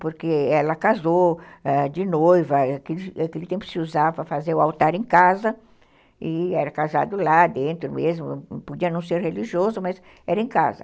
porque ela casou ãh de noiva, naquele tempo se usava para fazer o altar em casa, e era casado lá dentro mesmo, podia não ser religioso, mas era em casa.